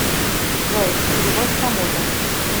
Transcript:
джой перевод кому то